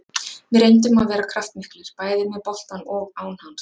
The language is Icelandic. Við reyndum að vera kraftmiklir, bæði með boltann og án hans.